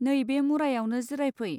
नै बे मुरायावनो जिराय फै.